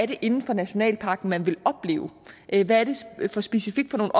det er inden for nationalparken man gerne vil opleve hvad det specifikt er